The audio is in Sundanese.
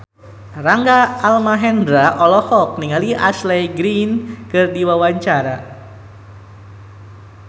Rangga Almahendra olohok ningali Ashley Greene keur diwawancara